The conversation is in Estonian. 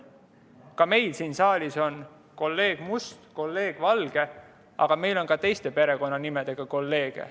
Ka meil siin saalis on kolleeg Must ja kolleeg Valge, aga meil on ka teiste perekonnanimedega kolleege.